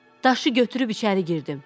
Daşı götürüb içəri girdim.